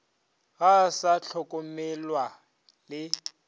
ga a sa hlokomelwa le